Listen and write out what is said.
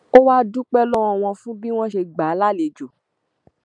ó wàá dúpẹ lọwọ wọn fún bí wọn ṣe gbà á lálejò